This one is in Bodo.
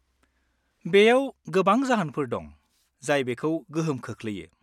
-बेयाव गोबां जाहोनफोर दं जाय बेखौ गोहोम खोख्लैयो।